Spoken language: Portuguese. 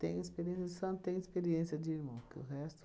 Tenho experiência tenho experiência de irmão. Que o resto